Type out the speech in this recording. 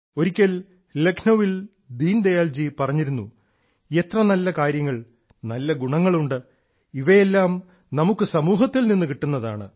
ഒരിക്കൽ ലക്നൌവിൽ ശ്രീ ദീൻദയാൽ പറഞ്ഞിരുന്നു എത്ര നല്ല കാര്യങ്ങൾ നല്ല ഗുണങ്ങൾ ഉണ്ട് ഇവയെല്ലാം നമുക്ക് സമൂഹത്തിൽ നിന്ന് കിട്ടുന്നതാണ്